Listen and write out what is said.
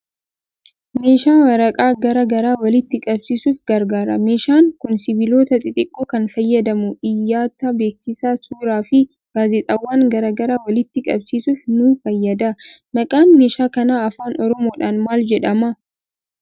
Meeshaa waraqaa garaa garaa walitti qabsiisuuf gargaaru. Meeshaan kun sibiilota xixiqqoo kan fayyadamu, iyyata, beeksisaa, suuraa fi gaazexaawwan garaa garaa walitti qabsiisuuf nu fayyada. Maqaan meeshaa kanaa Afaan Oromoodhaan maal jedhama?